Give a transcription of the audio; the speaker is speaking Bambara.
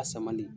A samali